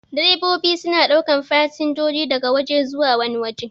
Direbobi suna ɗaukan fasinjoji daga waje zuwa wani wajen.